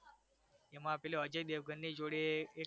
એમાં પેલો અજય દેવગનની જોડે એક